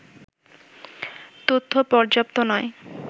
তথ্য পর্যাপ্ত নয়